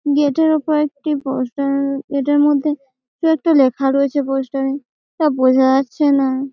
Gate এর ওপরে একটি পোস্টার এটার মধ্যে কি একটা লেখা রয়েছে পোস্টারে তা বোঝা যাচ্ছে না।